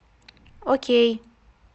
окей